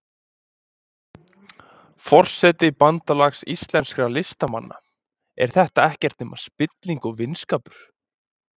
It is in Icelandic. Forseti Bandalags íslenskra listamanna, er þetta ekkert nema spilling og vinskapur?